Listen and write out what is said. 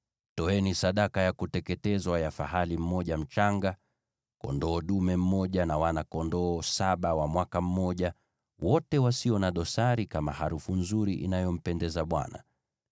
Toeni sadaka ya kuteketezwa ya fahali mmoja mchanga, kondoo dume mmoja, na wana-kondoo saba wa mwaka mmoja, wote wasio na dosari, kama harufu nzuri inayompendeza Bwana .